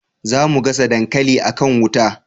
za mu gasa dankali a kan wuta